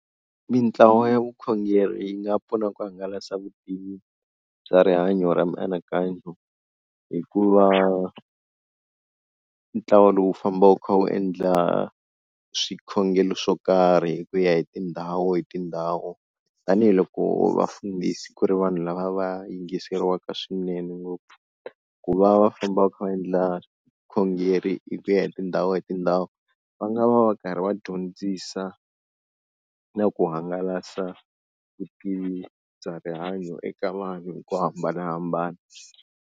Mitlawa ya vukhongeri yi nga pfuna ku hangalasa vutivi bya rihanyo ra mianakanyo hi ku va ntlawa lowu wu famba wu kha wu endla swikhongelo swo karhi hi ku ya hi tindhawu hi tindhawu, tanihiloko vafundhisi ku ri vanhu lava va yingiseriwaka swinene ngopfu ku va va famba va kha va endla vukhongeri hi ku ya hi tindhawu hi tindhawu, va nga va va karhi va dyondzisa na ku hangalasa vutivi bya rihanyo eka vanhu hi ku hambanahambana.